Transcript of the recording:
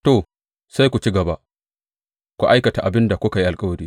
To, sai ku ci gaba, ku aikata abin da kuka yi alkawari!